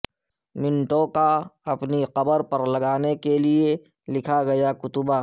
منٹو کا اپنی قبر پر لگانے کے لیے لکھا گیا کتبہ